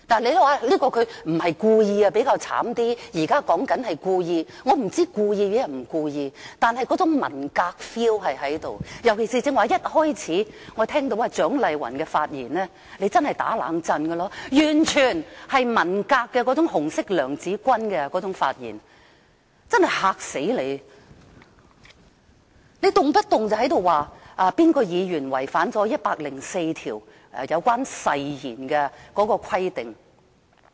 你們會說這人不是故意，可能比較可憐，現在說的人是故意——我不知道他故意抑或並非故意——但是，那種"文革 feel" 確實存在，尤其是剛才一開始我聽到蔣麗芸議員的發言，真是令人"打冷顫"，完全是文革那種"紅色娘子軍"的發言，真是很嚇人，動不動便說某位議員違反了《基本法》第一百零四條有關誓言的規定。